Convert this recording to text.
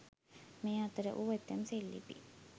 මේ අතර වූ ඇතැම් සෙල්ලිපි